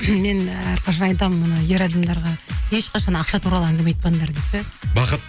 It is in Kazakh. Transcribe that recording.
мен әрқашан айтамын оны ер адамдарға ешқашан ақша туралы әңгіме айтпаңдар деп ше бақыт